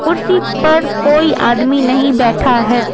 कुर्सी पर कोई आदमी नहीं बैठा है।